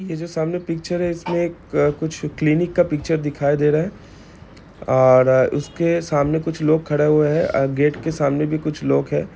ये जो सामने पिक्चर है इसमे एक क्लिनिक का पिक्चर दिखाई दे रहा है ओर इसके सामने कुछ लोग खड़े हुए हैं और गेट के सामने भी कुछ लोग हैं।